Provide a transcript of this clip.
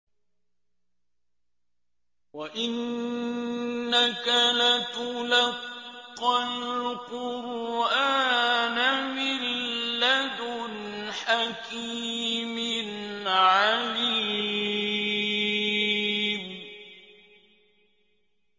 وَإِنَّكَ لَتُلَقَّى الْقُرْآنَ مِن لَّدُنْ حَكِيمٍ عَلِيمٍ